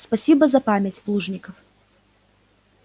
спасибо за память плужников